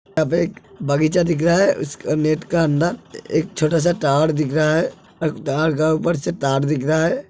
यहां पे एक बगीचा दिख रहा है इसके नेट का अंदर एक छोटा सा टॉवर दिख रहा है और ऊपर से तार दिख रहा है।